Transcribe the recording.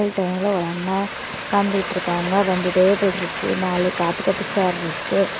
பகல் டைம்ல ஒரு அண்ணா உக்காந்துகிட்ருக்காங்க இரண்டு டேபிள் இருக்கு நாலு காபி கட்டி சேர் இருக்கு.